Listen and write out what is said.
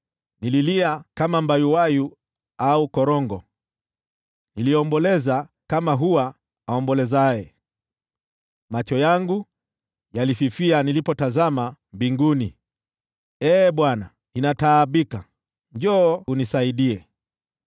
Nililia kama mbayuwayu au korongo, niliomboleza kama hua aombolezaye. Macho yangu yalififia nilipotazama mbinguni. Ee Bwana, ninataabika, njoo unisaidie!”